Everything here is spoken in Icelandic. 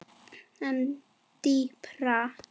En dýpra?